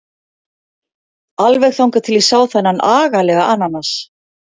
Alveg þangað til ég sá þennan agalega ananas.